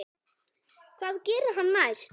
Hvað gerir hann næst?